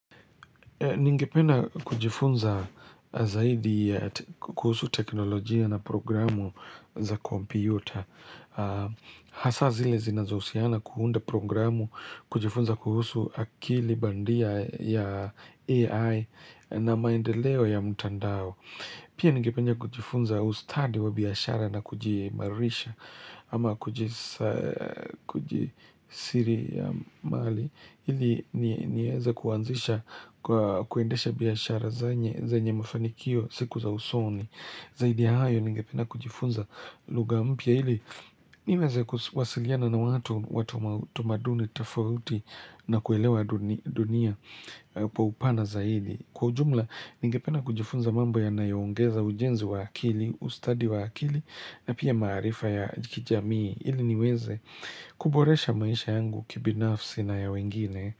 Ningipenda kujifunza zaidi kuhusu teknolojia na programu za kompyuta. Hasa zile zinazouhusiana kuunda programu kujifunza kuhusu akili bandia ya AI na maendeleo ya mtandao. Pia ningipenda kujifunza ustadi wa biashara na kujiimarisha ama kujisiria mali. Ili niweze kuandesha biashara zanye zanye mafanikio siku za usoni Zaidi ya hayo ningependa kujifunza lugha mpya hili niweze kuwasiliana na watu watu wa tamaduni tofauti na kuelewa dunia kwa upana zaidi Kwa ujumla ningependa kujifunza mambo yanayongeza ujenzi wa akili, ustadi wa akili na pia maarifa ya kijamii ili niweze kuboresha maisha yangu kibinafsi na ya wengine.